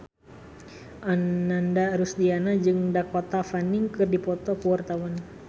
Ananda Rusdiana jeung Dakota Fanning keur dipoto ku wartawan